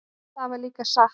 Það var líka satt.